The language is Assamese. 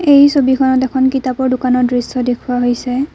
এই ছবিখনত এখন কিতাপৰ দোকানৰ দৃশ্য দেখুওৱা হৈছে।